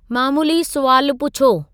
मामूली सुवाल पुछो